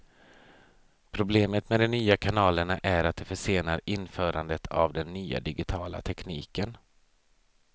Problemet med de nya kanalerna är att de försenar införandet av den nya digitala tekniken.